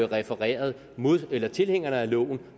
refereret tilhængerne af loven